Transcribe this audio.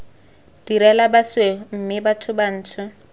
direla basweu mme batho bantsho